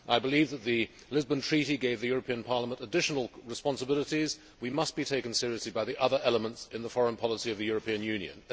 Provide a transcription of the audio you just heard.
I believe that the Lisbon Treaty gave the European Parliament additional responsibilities. We must be taken seriously by the other elements in the foreign policy of the European Union.